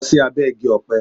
Lọ sí abẹ́ Igi-ọpẹ.